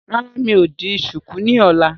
Rárá, mi ò di ṣùkú ni ọ̀la.